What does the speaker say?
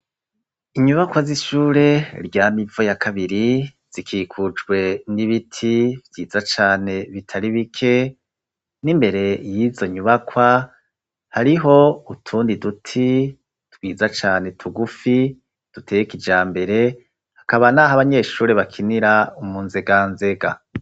Inyubakwa z'ishure rya Mivo ya kabiri zikikujwe n'ibiti vyiza cane bitari bike n'imbere y'izo nyubakwa hariho utundi duti twiza cane tugufi duteye kijambere hakaba n'aho abanyeshure bakinira mu nzega nzega.